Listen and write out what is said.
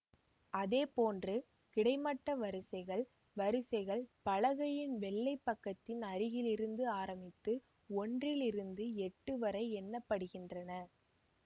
அதே போன்று கிடைமட்ட வரிசைகள் வரிசைகள் பலகையின் வெள்ளை பக்கத்தின் அருகில் இருந்து ஆரம்பித்து ஒன்றில் இலிருந்து எட்டு வரை எண்ணிடப்படுகின்றன